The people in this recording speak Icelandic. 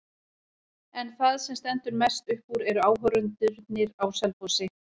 En það sem stendur mest upp úr eru áhorfendurnir á Selfossi.